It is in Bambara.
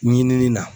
Ɲinini na